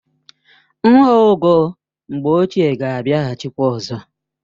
Nha ogo mgbe ochié ga abịahachi kwa ọzọ